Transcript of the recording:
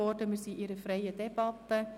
Wir führen eine freie Debatte.